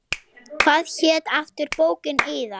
Hvað hét aftur bókin yðar?